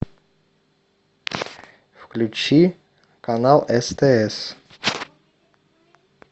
включи канал стс